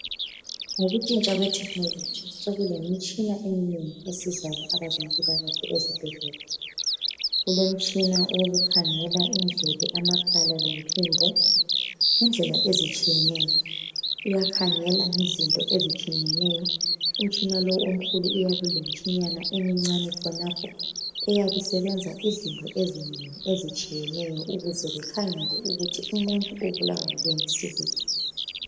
Ngokutshintshwa kwethekhinoloji sokulemitshina eminengi esizayo abazempilakahle esibhedlela kulemitshina yokukhangela indlebe, amakhala lompimbo ngendlela ezitshiyeneyo uyakhangela ngezinto ezinengi umtshina lowo omkhulu uyabe ulemitshinana emncane lapho eyabe isebenza izinto ezinengi ezitshiyeneyo ikhangele ukuthi umuntu ubulawa kuyini sibili